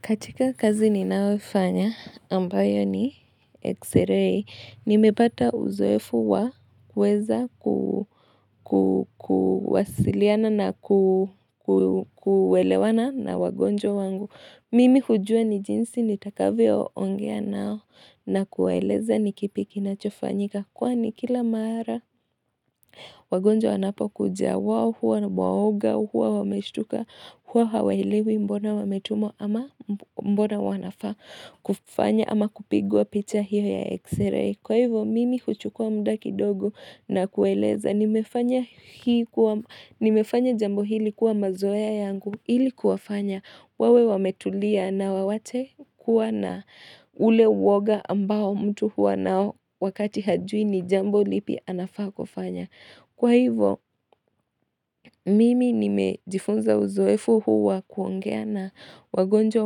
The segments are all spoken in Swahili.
Katika kazi ninayofanya ambayo ni X-ray, nimepata uzoefu wa kuweza kuwasiliana na kuelewana na wagonjwa wangu. Mimi hujua ni jinsi nitakavyoongea nao na kuwaeleza ni kipi kinachofanyika. Kwani kila mara wagonjwa wanapokuja wao huwa ni waoga huwa wameshtuka huwa hawaelewi mbona wametumwa ama mbona wanafaa kufanya ama kupigwa picha hiyo ya X-ray. Kwa hivo mimi huchukua muda kidogo na kuwaeleza nimefanya jambo hili kuwa mazoea yangu ili kuwafanya wawe wametulia na wawache kuwa na ule woga ambao mtu huwa nayo wakati hajui ni jambo lipi anafaa kufanya. Kwa hivo, mimi nimejifunza uzoefu huwa kuongea na wagonjwa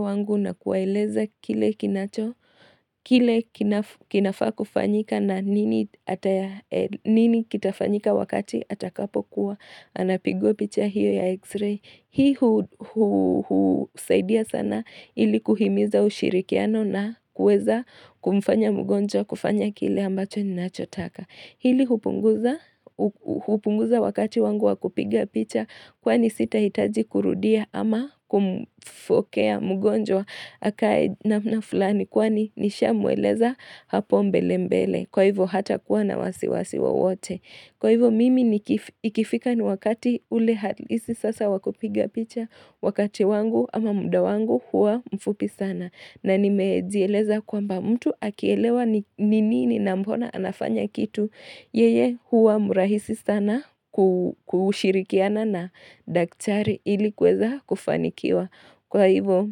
wangu na kuwaeleza kile kinacho kile kinafaa kufanyika na nini kitafanyika wakati atakapokuwa, anapigwa picha hiyo ya x-ray. Hii husaidia sana ili kuhimiza ushirikiano na kuweza kumfanya mgonjwa kufanya kile ambacho ninachotaka. Hili hupunguza wakati wangu wa kupiga picha kwani sitahitaji kurudia ama kumfokea mgonjwa akae namna fulani kwani nishamweleza hapo mbele mbele. Kwa hivo hatakuwa na wasiwasi wowote. Kwa hivo mimi niki ikifika ni wakati ule halisi sasa wa kupiga picha wakati wangu ama muda wangu huwa mfupi sana. Na nimezieleza kwamba mtu akielewa ni nini na mbona anafanya kitu. Yeye huwa mrahisi sana kushirikiana na daktari ili kuweza kufanikiwa. Kwa hivo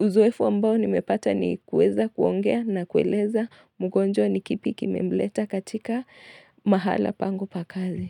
uzoefu ambao nimepata ni kuweza kuongea na kueleza mgonjwa ni kipi kimemleta katika mahala pangu pa kazi.